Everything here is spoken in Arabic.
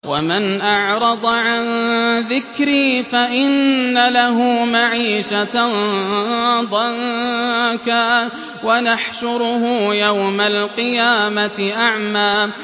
وَمَنْ أَعْرَضَ عَن ذِكْرِي فَإِنَّ لَهُ مَعِيشَةً ضَنكًا وَنَحْشُرُهُ يَوْمَ الْقِيَامَةِ أَعْمَىٰ